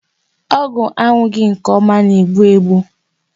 Ọgwụ aṅụghị nke ọma na-egbu egbu.